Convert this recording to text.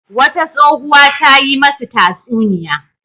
Wata tsohuwa ta yi masu tatsuniya.